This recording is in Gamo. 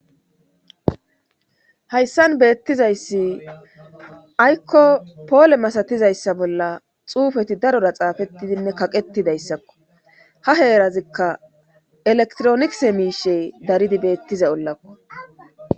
Hayssan beettizayssi aykko poole masatizayssa bolla xuufeti darora xaafettidinne kaqetidayssakko ha heerazikka elektronise miishe daridi beettiza ollakko